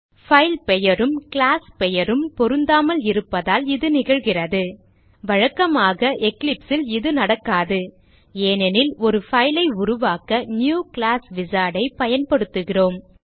file பெயரும் class பெயரும் பொருந்தாமல் இருப்பதால் இது நிகழ்கிறது வழக்கமாக Eclipse ல் இது நடக்காது ஏனெனில் ஒரு file ஐ உருவாக்க நியூ கிளாஸ் wizard ஐ பயன்படுத்துகிறோம்